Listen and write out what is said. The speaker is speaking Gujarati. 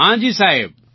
હા જી સાહેબ